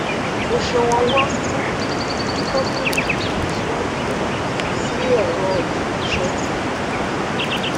o ṣeun ọwọ mimo dúpẹ fún ìjùmọsíwájú rẹ sí ẹrọ ìjùmọ ìṣègùn